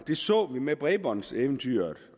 det så vi med bredbåndseventyret